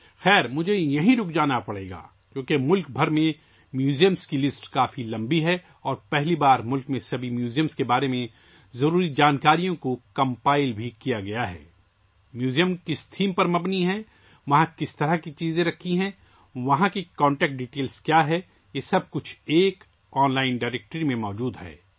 ویسے مجھے یہیں رکنا پڑے گا کیونکہ ملک بھر کے عجائب گھروں کی فہرست بہت طویل ہے اور پہلی بار ملک کے تمام عجائب گھروں کے بارے میں ضروری معلومات بھی مرتب کی گئی ہیں، یہ میوزیم کس موضوع پر مبنی ہے، کس قسم کا ہے؟ کیسی اشیاء وہاں رکھی جاتی ہیں رابطہ کی تفصیلات کیا ہیں یہ سب ایک آن لائن ڈائریکٹری میں موجود ہے